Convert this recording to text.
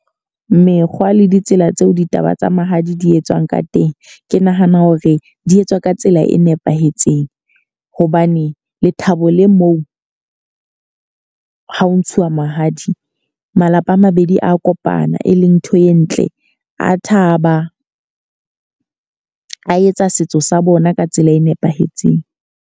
Mekgwa le ditsela tseo ditaba tsa mahadi di etswang ka teng. Ke nahana hore di etswa ka tsela e nepahetseng. Hobane lethabo le moo ha ho ntshiwa mahadi. Malapa a mabedi a kopana, e leng ntho e ntle. A thaba, a etsa setso sa bona ka tsela e nepahetseng.